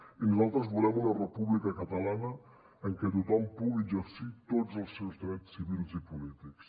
i nosaltres volem una república catalana en què tothom pugui exercir tots els seus drets civils i polítics